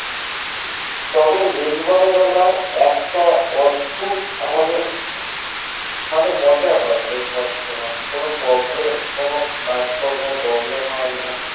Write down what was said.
তবে লিখবার বেলা এর অদ্ভুত আমাকে এক মজা হয় লিখবার সময় কোন problem কাজকর্মে কোন problem হয়না